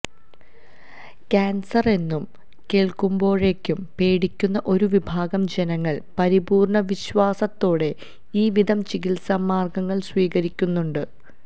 കാന്സറെന്നു കേള്ക്കുമ്പോഴേക്കും പേടിക്കുന്ന ഒരുവിഭാഗം ജനങ്ങള് പരിപൂര്ണവിശ്വാസത്തോടെ ഈവിധം ചികിത്സാമാര്ഗങ്ങള് സ്വീകരിക്കുന്നുണ്ട്